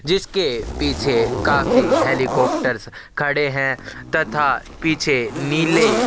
जिसके पिछे काफी हैलीकाप्टर्स खड़े है तथा पीछे नीले--